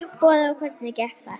Boði: Og hvernig gekk þar?